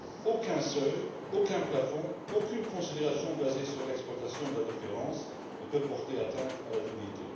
Aucun seuil, aucun plafond, aucune considération basée sur l'exploitation de la différence ne peuvent porter atteinte à la dignité.